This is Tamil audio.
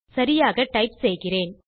சரியாக டைப் செய்கிறேன்